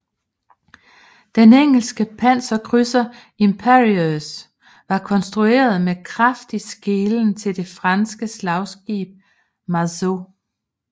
Den engelske panserkrydser Imperieuse var konstrueret med kraftig skelen til det franske slagskib Marceau